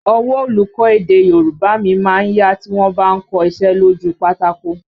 Ọwọ́ olùkọ́ èdè Yorùbá mi má ń yá tí wọ́n bá ń kọ iṣẹ́ lójú u pátákó